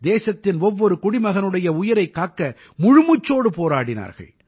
தேசத்தின் ஒவ்வொரு குடிமகனுடைய உயிரைக் காக்க முழுமூச்சோடு போராடினார்கள்